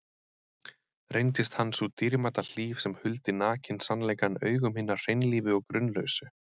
Reyndist hann sú dýrmæta hlíf sem huldi nakinn sannleikann augum hinna hreinlífu og grunlausu.